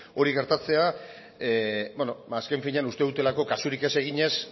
hori gertatzea azken finean uste dutelako kasurik ez eginez